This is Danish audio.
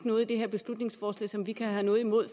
noget i det her beslutningsforslag som de kan have noget imod